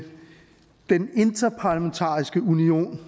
den interparlamentariske union